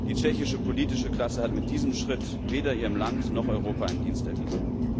Die tschechische politische Klasse hat mit diesem Schritt weder ihrem Land noch Europa einen Dienst erwiesen.